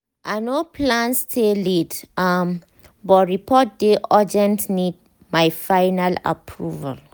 i no plan stay late um but report dey urgent need my final approval